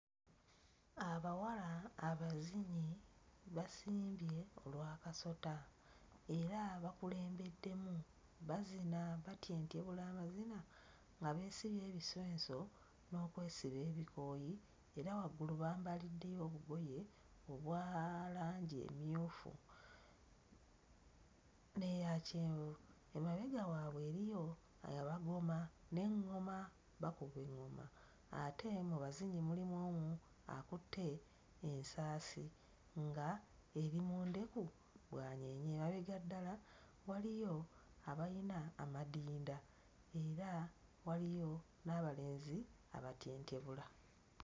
Abawala abazinyi basimbye olw'akasota era bakulembeddemu bazina batyentyebula amazina nga beesibye ebisenso n'okwesiba ebikooyi era waggulu bambaliddeyo obugoye obwa langi emmyufu n'eya kyenvu. Emabega waabwe eriyo abagoma n'eŋŋoma bakuba eŋŋoma ate mu bazinyi mulimu omu akutte ensaasi nga eri mu ndeku bw'anyeenya. Emabega ddala waliyo abalina amadinda era waliyo n'abalenzi abatyentyebula.